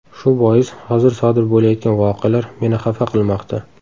Shu bois hozir sodir bo‘layotgan voqealar meni xafa qilmoqda.